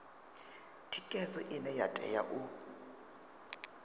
thikhedzo ine ya tea u